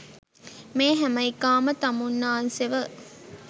මේ හැම එකාම තමුන්නාන්සෙව